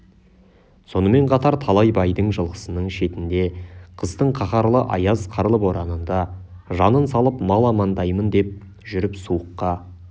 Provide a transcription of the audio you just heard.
сонымен қатар талай байдың жылқысының шетінде қыстың қаһарлы аяз қарлы боранында жанын салып мал амандаймын деп жүріп суыққа